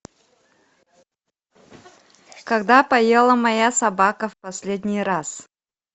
когда поела моя собака в последний раз